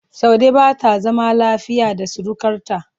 Saude ba ta zama lafiya da surukarta.